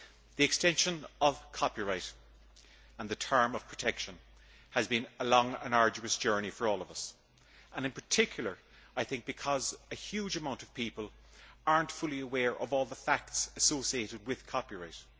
The extension of copyright and the term of protection has been a long and arduous journey for all of us, in particular because a huge amount of people are not fully aware of all the facts associated with copyright.